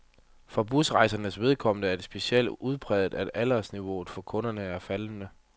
For busrejsernes vedkommende er det specielt udpræget, at aldersniveauet for kunderne er faldende.